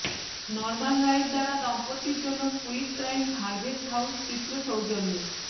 নর্মান Wright দ্বারা দম্পতির জন্য কুইট টাইমস হার্ভেস্ট হাউস চিত্র সৌজন্যে